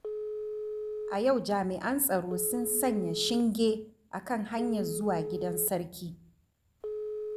A yau jami'an tsaro sun sanya shinge a kan hanyar zuwa gidan Sarki.